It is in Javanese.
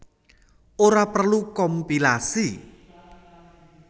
Ora perlu kompilasi